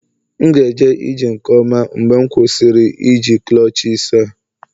M ga-eje ije nke ọma mgbe m kwụsịrị iji clutches a